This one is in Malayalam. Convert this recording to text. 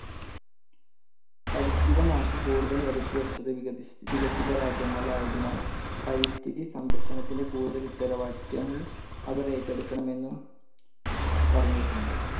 പരിസ്ഥിത നാശം കൂടുതൽ വരുത്തി വെച്ചത് വികസി~വികസിത രാജ്യങ്ങൾ ആയതിനാൽ, പരിസ്ഥിതി സംരക്ഷണത്തിന്റെ കൂടുതൽ ഉത്തരവാദിത്യങ്ങൾ അവർ ഏറ്റെടുക്കണം എന്നും പറഞ്ഞിട്ടുണ്ട്.